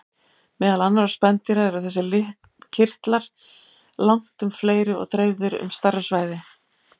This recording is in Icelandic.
Meðal annarra spendýra eru þessir kirtlar langtum fleiri og dreifðir um stærra svæði.